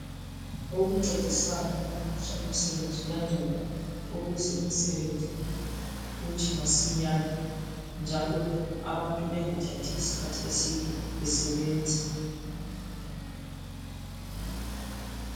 Ukuncedisana ukuphutsha imisebenzi kuyanceda ukuze imisebenzi iphutshe masinyane njalo abantu bengathathi isikhathi eside besebenza.